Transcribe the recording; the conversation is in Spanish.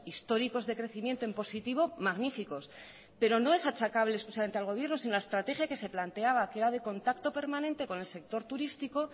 históricos de crecimiento en positivo magníficos pero no es achacable exclusivamente al gobierno sino la estrategia que se planteaba que era de contacto permanente con el sector turístico